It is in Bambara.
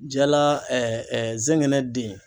Jala zɛngɛnɛ den